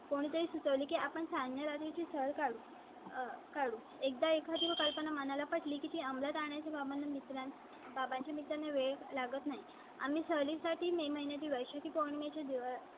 कोणताही सुचवले की आपण सैन्या ची चाळ. कालू एकदा एखादी कल्पना मनाला पटली की ती अमलात आणण्या च्या भावाने मित्रांच्या बाबांचे मित्र वेळ लागत नाही. आम्ही सहली साठी मे महिन्या दिवशी पौर्णिमे चे दिवस.